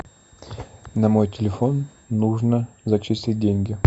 на мой телефон нужно зачислить деньги